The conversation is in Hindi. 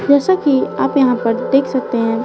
जैसा कि आप यहां पर देख सकते हैं।